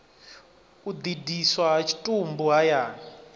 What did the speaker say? u ḓidiswa ha tshitumbu hayani